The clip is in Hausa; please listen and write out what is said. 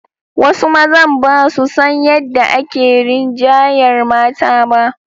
Wasu mazan ba su san yadda ake rinjayar mata ba.